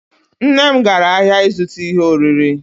Nne m gara ahịa ịzụta ihe oriri.